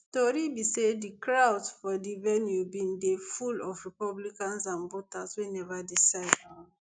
tori be say di crowds for di venue bin dey full of republicans and voters wey neva decide um